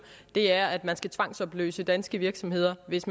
er at man skal tvangsopløse danske virksomheder hvis